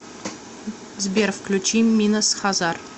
сбер включи минас хазар